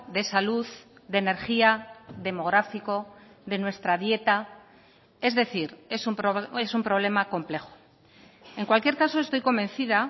de salud de energía demográfico de nuestra dieta es decir es un problema complejo en cualquier caso estoy convencida